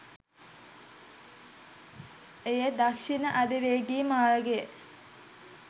එය දක්ෂිණ අධිවේගී මාර්ගය